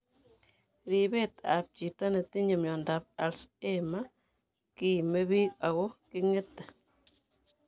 Ribeet ab chiito netinye miondab Alzheimer kiimebiik ako king'ete